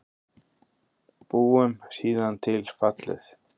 Búum síðan til fallið